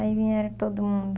Aí vieram todo mundo.